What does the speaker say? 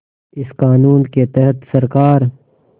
इस क़ानून के तहत सरकार